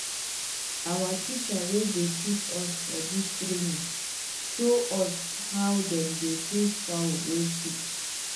our teacher wey dey teach us for dis training show us how dem dey treat fowl wey sick.